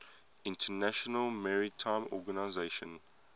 international maritime organization